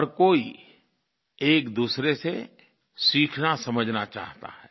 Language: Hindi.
हर कोई एकदूसरे से सीखनासमझना चाहता है